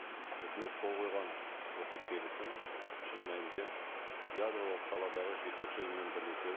өкімет қол қойған осы келісім шын мәнінде ядролық саладағы жетекші ұйыммен бірлесе